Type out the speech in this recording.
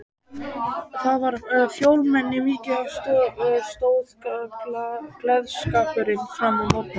Þar var fjölmenni mikið og stóð gleðskapurinn fram á morgun.